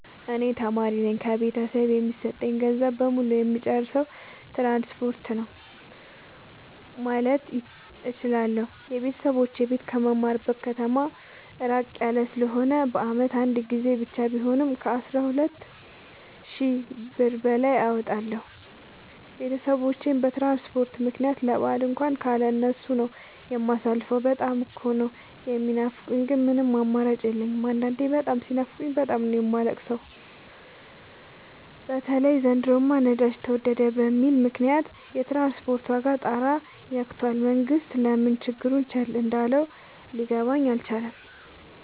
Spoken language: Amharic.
እኔ ተማሪነኝ ከቤተሰብ የሚሰጠኝን ገንዘብ በሙሉ ጨየማጠፋው ትራንስፖርት ነው። ማለት እችላለሁ። የቤተሰቦቼ ቤት ከምማርበት ከተማ በጣም እራቅ ያለ ስለሆነ በአመት አንድ ጊዜ ብቻ ቢሆንም ከአስራ ሁለት ሺ ብር በላይ አወጣለሁ። ቤተሰቦቼን በትራንስፖርት ምክንያት ለበአል እንኳን ካለ እነሱ ነው። የማሳልፈው በጣም እኮ ነው። የሚናፍቁኝ ግን ምንም አማራጭ የለኝም አንዳንዴ በጣም ሲናፍቁኝ በጣም ነው የማለቅ ሰው በተለይ ዘንድሮማ ነዳጅ ተወደደ በሚል ምክንያት የትራንስፖርት ዋጋ ጣራ የክቶል መንግስት ለምን ችግሩን ቸል እንዳለው ሊገባኝ አልቻለም።